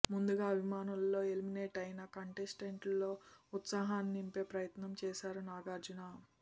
ముందుగా అభిమానులలో ఎలిమినేట్ అయిన కంటెస్టెంట్స్లో ఉత్సాహాన్ని నింపే ప్రయత్నం చేశారు నాగార్జున